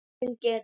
Rangt til getið